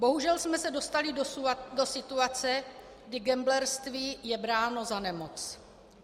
Bohužel jsme se dostali do situace, kdy gamblerství je bráno za nemoc.